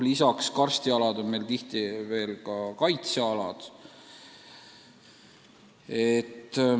Ja karstialad on meil tihti veel ka kaitsealad.